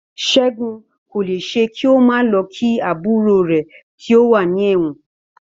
Ṣẹ́gun kò lè ṣe kí ó má lọ kí àbúrò rè tí ó wà ní ẹ̀wọ̀n.